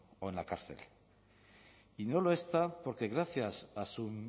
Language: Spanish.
o en la cárcel y no lo está porque gracias a su